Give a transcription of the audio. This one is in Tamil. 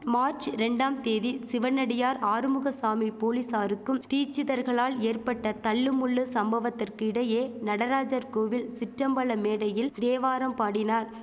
மார்ச் ரெண்டாம் தேதி சிவனடியார் ஆறுமுகசாமி போலீசாருக்கும் தீச்சிதர்களால் ஏற்பட்ட தள்ளு முள்ளு சம்பவத்திற்கிடையே நடராஜர் கோவில் சிற்றம்பல மேடையில் தேவாரம் பாடினார்